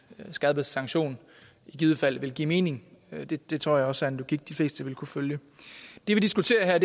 skærpet sanktion i givet fald vil give mening det det tror jeg også er en logik de fleste vil kunne følge det vi diskuterer her